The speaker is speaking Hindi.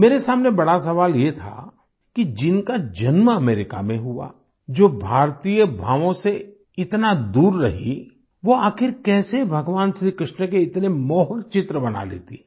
मेरे सामने बड़ा सवाल ये था कि जिनका जन्म अमेरिका में हुआ जो भारतीय भावों से इतना दूर रहीं वो आखिर कैसे भगवान श्रीकृष्ण के इतने मोहक चित्र बना लेती हैं